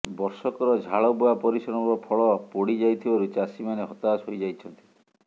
ବର୍ଷକର ଝାଳବୁହା ପରିଶ୍ରମର ଫଳ ପୋଡ଼ି ଯାଇଥିବାରୁ ଚାଷୀ ମାନେ ହତାଷ ହୋଇଯାଇଛନ୍ତି